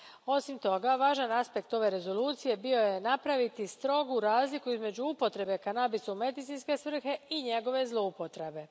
Osim toga, važan aspekt ove rezolucije bio je napraviti strogu razliku između upotrebe kanabisa u medicinske svrhe i njegove zloupotrebe.